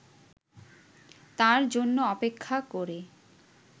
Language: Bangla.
তার জন্য অপেক্ষা করে